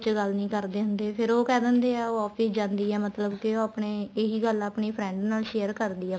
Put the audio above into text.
ਚ ਗੱਲ ਨਹੀਂ ਕਰਦੇ ਹੁੰਦੇ ਫ਼ੇਰ ਉਹ ਕਹਿ ਦਿੰਦੇ ਏ ਉਹ office ਜਾਂਦੀ ਆ ਮਤਲਬ ਕੇ ਉਹ ਆਪਣੇ ਇਹੀ ਗੱਲ ਉਹ ਆਪਣੀ friend ਨਾਲ share ਕਰਦੀ ਆ